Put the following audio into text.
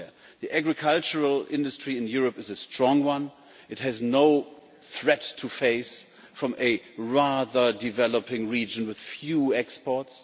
The agricultural industry in Europe is a strong one. It has no threats to face from a rather developing region with few exports.